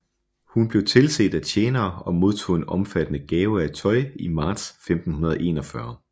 Hun blev tilset af tjenere og modtog en omfattende gave af tøj i marts 1541